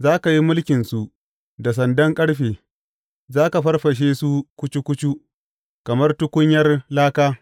Za ka yi mulkinsu da sandan ƙarfe; za ka farfashe su kucu kucu kamar tukunyar laka.